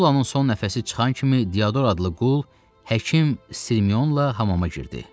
Sullanın son nəfəsi çıxan kimi, Diador adlı qul həkim Sirmionla hamama girdi.